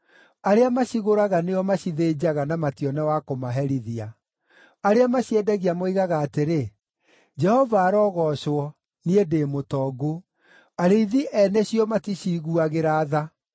Arĩa macigũraga nĩo macithĩnjaga na matione wa kũmaherithia. Arĩa maciendagia moigaga atĩrĩ, ‘Jehova arogoocwo, niĩ ndĩ mũtongu!’ Arĩithi ene cio maticiiguagĩra tha.